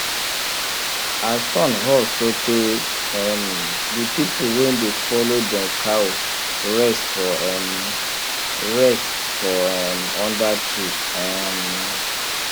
as sun hot so tey um the pple wey dey follow dem cow rest for um rest for um under tree um